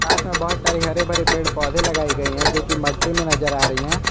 साथ में बहुत सारे हरे भरे पेड़ पौधे लगाए गए हैं जो कि मट्टी में नज़र आ रहे हैं।